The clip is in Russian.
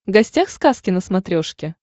гостях сказки на смотрешке